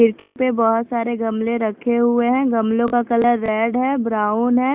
खिड़की पर बहुत सारे गमले रखे हुए हैं गमलों का कलर रेड है ब्राउन है।